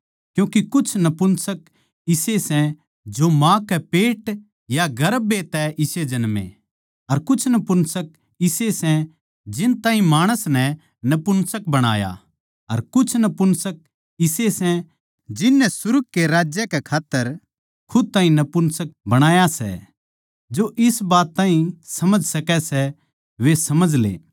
क्यूँके कुछ नपुंसक इसे सै जो माँ के पेट या गर्भ ए तै इसे जन्मे अर कुछ नपुंसक इसे सै जिन ताहीं माणस नै नपुंसक बणाया अर कुछ नपुंसक इसे सै जिन नै सुर्ग कै राज्य कै खात्तर खुद ताहीं नपुंसक बणाया सै जो इस बात ताहीं समझ सकै सै वे समझ ले